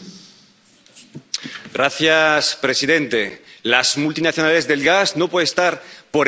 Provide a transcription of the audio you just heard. Señor presidente, las multinacionales del gas no pueden estar por encima de la ley